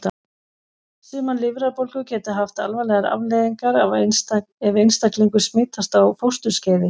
Sumar lifrarbólgur geta haft alvarlegar afleiðingar ef einstaklingur smitast á fósturskeiði.